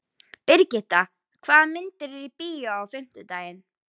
Brigitta, hvaða myndir eru í bíó á fimmtudaginn?